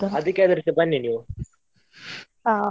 ಅದಿಕ್ಕೆ ಆದ್ರೂಸ ಬನ್ನಿ ನೀವು ತಿನ್ನಲಿಕ್ಕೆ